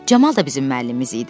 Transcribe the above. Camal da bizim müəllimimiz idi.